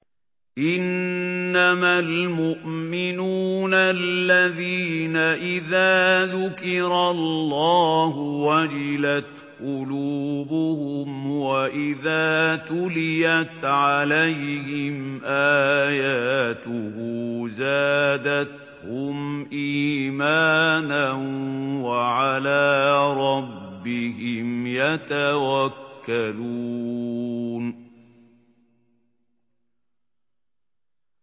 إِنَّمَا الْمُؤْمِنُونَ الَّذِينَ إِذَا ذُكِرَ اللَّهُ وَجِلَتْ قُلُوبُهُمْ وَإِذَا تُلِيَتْ عَلَيْهِمْ آيَاتُهُ زَادَتْهُمْ إِيمَانًا وَعَلَىٰ رَبِّهِمْ يَتَوَكَّلُونَ